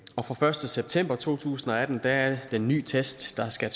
fra første september to tusind og atten er det den nye test der skal